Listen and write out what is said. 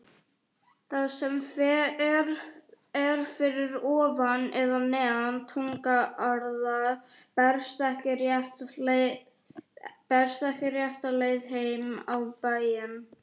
Það sem fer fyrir ofan eða neðan túngarða berst ekki rétta leið heim á bæinn.